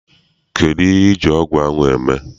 Kedụ ihe iji ọgụ ahụ eme?